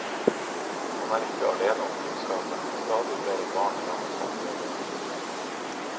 Han er ikke alene om kunnskapen, stadig flere barn rammes av diabetes.